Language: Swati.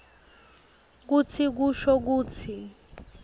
kutsi kusho kutsi